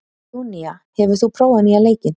Júnía, hefur þú prófað nýja leikinn?